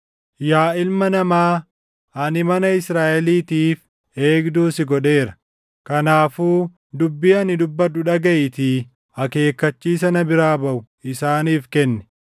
“Yaa ilma namaa, ani mana Israaʼeliitiif eegduu si godheera; kanaafuu dubbii ani dubbadhu dhagaʼiitii akeekkachiisa na biraa baʼu isaaniif kenni.